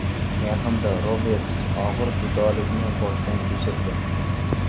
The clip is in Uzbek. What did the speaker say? Yaqinda Roberts og‘ir judolikni boshdan kechirdi.